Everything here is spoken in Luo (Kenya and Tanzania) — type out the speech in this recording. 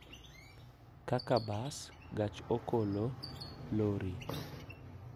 Kaka bas, gach okolo, lori,